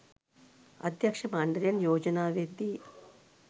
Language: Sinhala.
අධ්‍යක්ෂ මණ්ඩලයෙන් යෝජනා වෙද්දී